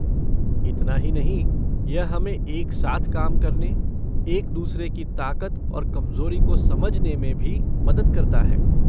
इतना ही नहीं, यह हमें एक साथ काम करने, एक दूसरे की ताकत और कमजोरी को समझने में भी मदद करता है।